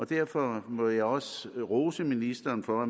derfor må jeg også rose ministeren for at